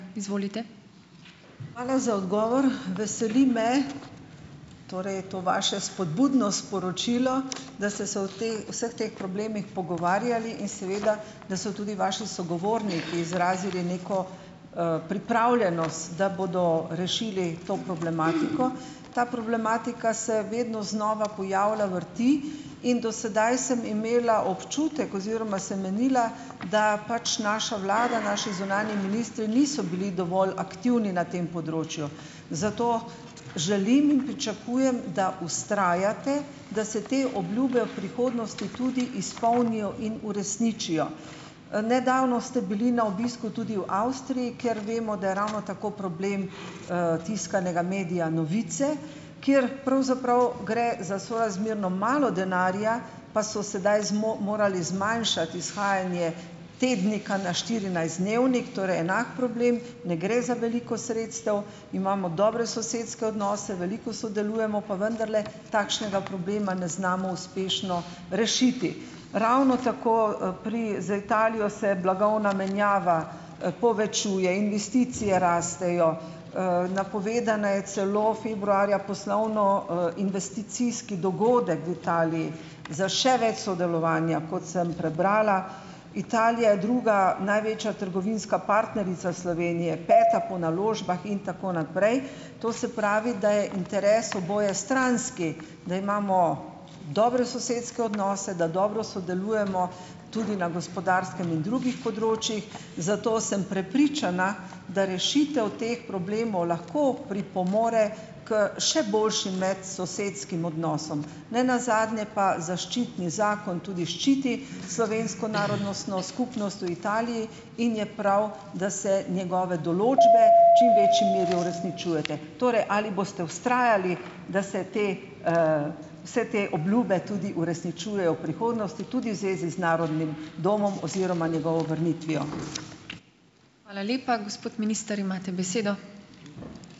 Hvala za odgovor! Veseli me, torej to vaše spodbudno sporočilo, da ste se o vseh teh problemih pogovarjali in seveda da so tudi vaši sogovorniki izrazili neko, pripravljenost, da bodo rešili to problematiko. Ta problematika se vedno znova pojavlja, vrti in do sedaj sem imela občutek oziroma sem menila, da pač naša vlada, naši zunanji ministri niso bili dovolj aktivni na tem področju, zato želim in pričakujem, da vztrajate, da se te obljube v prihodnosti tudi izpolnijo in uresničijo. Nedavno ste bili na obisku tudi v Avstriji, kjer vemo, da je ravno tako problem, tiskanega medija Novice, kjer pravzaprav gre za sorazmerno malo denarja, pa so sedaj morali zmanjšati izhajanje tednika na štirinajstdnevnik, torej enak problem, ne gre za veliko sredstev, imamo dobre sosedske odnose, veliko sodelujemo, pa vendarle takšnega problema ne znamo uspešno rešiti. Ravno tako, pri z Italijo se blagovna menjava, povečuje, investicije rastejo, napovedan je celo, februarja, poslovno-, investicijski dogodek v Italiji za še več sodelovanja, kot sem prebrala. Italija je druga največja trgovinska partnerica Slovenije. Peta po naložbah in tako naprej. To se pravi, da je interes obojestranski, da imamo dobre sosedske odnose, da dobro sodelujemo tudi na gospodarskem in drugih področjih, zato sem prepričana, da rešitev teh problemov lahko pripomore k še boljšim medsosedskim odnosom. Ne nazadnje pa zaščitni zakon tudi ščiti slovensko narodnostno skupnost v Italiji in je prav, da se njegove določbe čim večji meri uresničujete. Torej, ali boste vztrajali, da se te vse te obljube tudi uresničujejo v prihodnosti, tudi v zvezi z Narodnim domom oziroma njegovo vrnitvijo?